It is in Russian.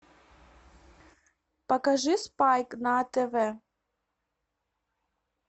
покажи спайк на тв